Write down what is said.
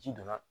Ji donna